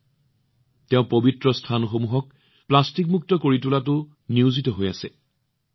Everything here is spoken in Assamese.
তেওঁ পৰিষ্কাৰপৰিচ্ছন্নতা অভিযানৰ লগতে পবিত্ৰ স্থানসমূহক প্লাষ্টিকমুক্ত কৰি তোলাতো নিয়োজিত হৈ আছে